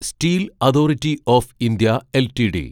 steel authority of India LTD